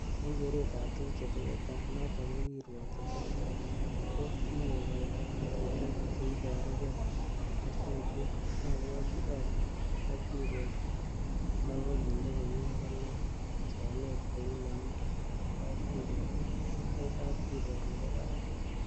En keret ab tuguk chetesetai, noton ko kirwogik cheterter ko kikokoito ngatutiet che iboru gee ko suriet, abwoti ale kapkirwok nekokinde komie konai somet kou nemi en kapkirwok ko kapkirwok nebo barak.